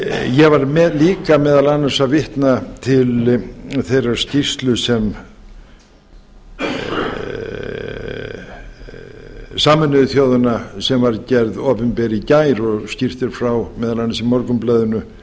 ég var líka meðal annars að vitna til þeirrar skýrslu sameinuðu þjóðanna sem var gerð opinber í gær og skýrt er frá meðal annars í morgunblaðinu